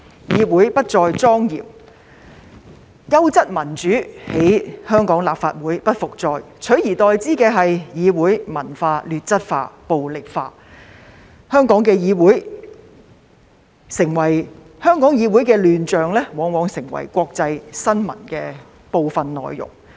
議會不再莊嚴，優質民主在香港立法會不復再，取而代之的是議會文化劣質化、暴力化，香港議會的亂象往往成為國際新聞的部分內容。